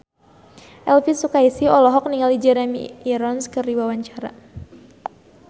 Elvi Sukaesih olohok ningali Jeremy Irons keur diwawancara